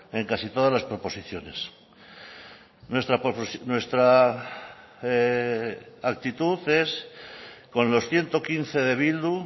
en casi todas las proposiciones nuestra actitud es con los ciento quince de bildu